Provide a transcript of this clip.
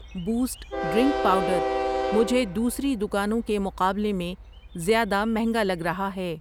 Boost drink powder مجھے دوسری دکانوں کے مقابلے میں زیادہ مہنگا لگ رہا ہے۔